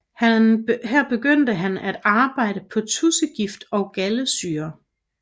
Her begyndte han at arbejde på tudsegift og galdesyre